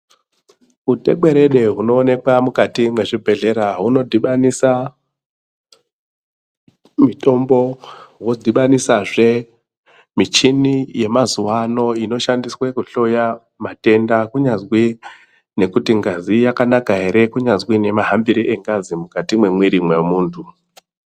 Utekwerede hunoonekwa mukati mwezvibhedhlera hunodhibanisa mutombo wodhibanisazve muchini yemazuwa ano inoshandiswe kuhloya matenda kunyazwi ngekuti ngazi yakanaka ere kunyazwi nemahambire engazi mukati mwemiri mwemuntu.